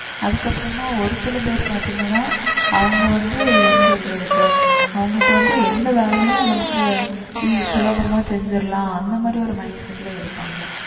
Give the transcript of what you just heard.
அதுக்கப்புறமா ஒரு சில பேர் பார்த்தீங்கன்னா அவங்க வந்து என்ன சொல்றதுக்கு அவங்களுக்கு வந்து எந்த வேலையும் நமக்கு eas~ சுலபமா செஞ்சிடலாம் அந்த மாதிரி ஒரு mindset ல இருப்பாங்க